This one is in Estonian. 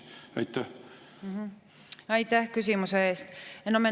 Aitäh küsimuse eest!